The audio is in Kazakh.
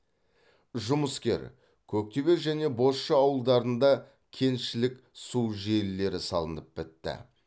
жұмыскер көктөбе және бозша ауылдарында кентішілік су желілері салынып бітті